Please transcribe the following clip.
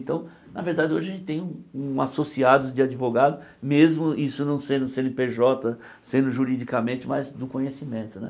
Então, na verdade, hoje a gente tem um um associado de advogados, mesmo isso não sendo cê êne pê jota, sendo juridicamente, mas no conhecimento, né?